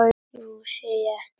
Nú sé ég eftir því.